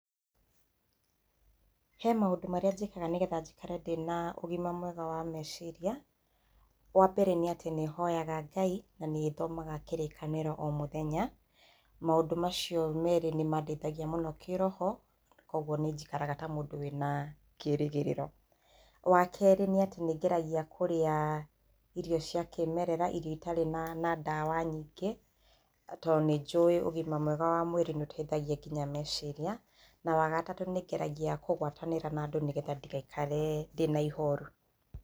He maũndũ marĩa njĩkaga nĩgetha njikare ndĩna ũgima mwega wa meciria, wambere nĩ atĩ nĩhoyaga ngai na ngathoma kĩrĩkanĩro o mũthenya maũndũ macio merĩ nĩmandeithagia mũno kĩroho, koguo nĩ njikaraga ta mũndũ wĩna kĩrĩgĩrĩro. Wakeri nĩ atĩ nĩngeragia kũrĩa irio cia kĩmerera irio itarĩ na ndawa nyingĩ tondũ nĩnjũĩ ugima mwega wa meciria nĩũteithagia nginya meciria. Na wagatatũ nĩngeragia kũgwatanĩra na andũ nĩgetha ndigaikare ndĩna ihoru.